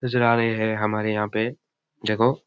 नजर आ रहे है हमार यहाँ पे जको --